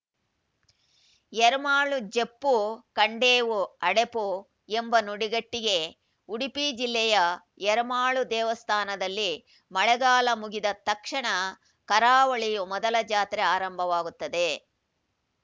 ಎರ್ಮಾಳು ಜಪ್ಪು ಖಂಡೇವು ಅಡೆಪು ಎಂಬ ನುಡಿಗಟ್ಟಿದೆ ಉಡುಪಿ ಜಿಲ್ಲೆಯ ಎರ್ಮಾಳು ದೇವಸ್ಥಾನದಲ್ಲಿ ಮಳೆಗಾಲ ಮುಗಿದ ತಕ್ಷಣ ಕರಾವಳಿಯ ಮೊದಲ ಜಾತ್ರೆ ಆರಂಭವಾಗುತ್ತದೆ